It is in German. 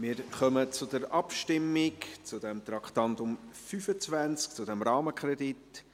Wir kommen zur Abstimmung des Traktandums 25, zum Rahmenkredit.